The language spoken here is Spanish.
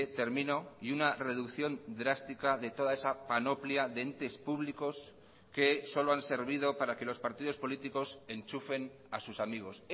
termino y una reducción drástica de toda esa panoplia de entes públicos que solo han servido para que los partidos políticos enchufen a sus amigos